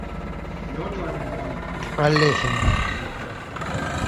алехин